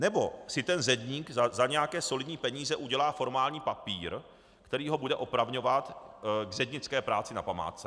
Nebo si ten zedník za nějaké solidní peníze udělá formální papír, který ho bude opravňovat k zednické práci na památce?